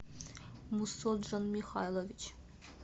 мусоджон михайлович